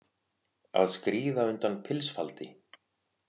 Að skríða undan pilsfaldi